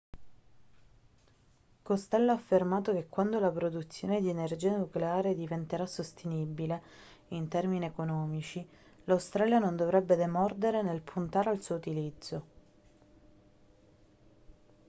costello ha affermato che quando la produzione di energia nucleare diventerà sostenibile in termini economici l'australia non dovrebbe demordere nel puntare al suo utilizzo